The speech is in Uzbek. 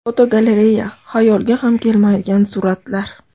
Fotogalereya: Xayolga ham kelmaydigan suratlar.